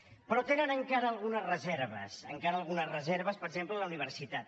però tenen encara algunes reserves encara algunes reserves per exemple a la universitat